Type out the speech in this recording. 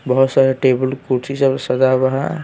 बहुत सारे टेबल कुर्ची सब सजा हुआ है।